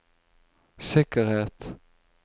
sikkerhet